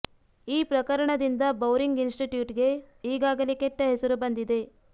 ಈ ಪ್ರಕರಣದಿಂದ Bowring institute ಗೆ ಈಗಾಗಲೇ ಕೆಟ್ಟ ಹೆಸರು ಬಂದಿದೆ